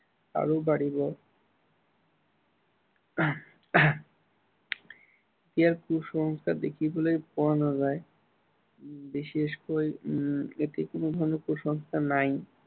আৰু বাঢ়িব। ইয়াত কুসংস্কাৰ দেখিবলৈ পোৱা নাযায়। বিশেষকৈ উম ইয়াতে কোনো ধৰনৰ কুসংস্কাৰ নাই।